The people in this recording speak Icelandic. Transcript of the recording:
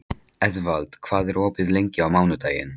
Eðvald, hvað er opið lengi á mánudaginn?